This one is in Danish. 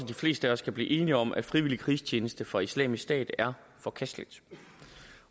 de fleste af os kan blive enige om at frivillig krigstjeneste for islamisk stat er forkasteligt